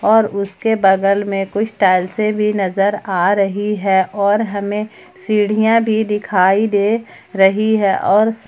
और उसके बगल में कुछ टाइल्से से भी नजर आ रही है और हमें सीढ़ियां भी दिखाई दे रही है और--